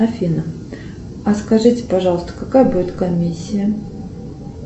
афина а скажите пожалуйста какая будет комиссия